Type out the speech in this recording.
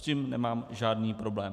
S tím nemám žádný problém.